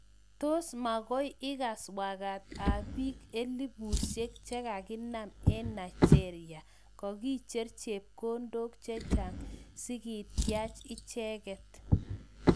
Tos makoi ikas wakat ab bik elipushek chekakinam eng Nigeria, kakicher chepkondok chechang sikityach icheket.